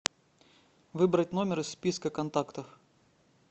выбрать номер из списка контактов